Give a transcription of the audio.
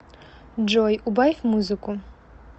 джой убавь музыку